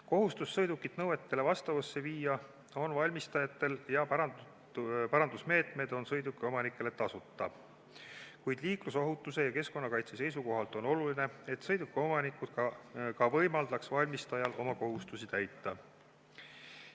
Kohustus sõiduk nõuetele vastavusse viia on valmistajatel ja parandusmeetmed on sõidukiomanikele tasuta, kuid liiklusohutuse ja keskkonnakaitse seisukohalt on oluline, et sõidukiomanikud võimaldaksid valmistajal oma kohustust täita.